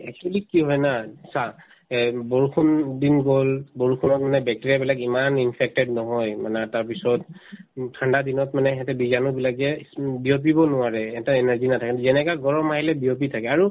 actually কি হয় না চা এহ্ বৰষুণ দুদিন গল বৰষুণত মানে bacteria বিলাক ইমান infected নহয় মানে তাৰ পিছত উম ঠাণ্ডা দিনত মানে সেহেঁতে বীজাণু বিলাক যে স্ম বিয়পিব নোৱাৰে এহেতৰ energy নাথাকে যেনেকা গৰম আহিলে বিয়পি থাকে আৰু